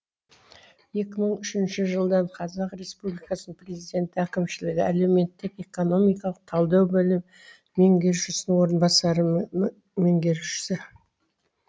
екі мың үшінші жылдан қазақ республикасыны президенті әкімшілігі әлеуметтік экономикалық талдау бөлім меңгерушісінің орынбасары меңгерушісі